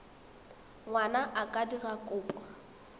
ngwana a ka dira kopo